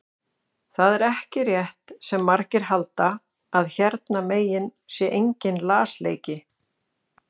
Það er ekki rétt sem margir halda að hérna megin sé enginn lasleiki.